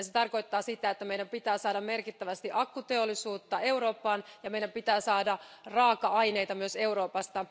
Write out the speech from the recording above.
Se tarkoittaa sitä, että meidän pitää saada merkittävästi akkuteollisuutta Eurooppaan ja meidän pitää saada raaka aineita myös Euroopasta.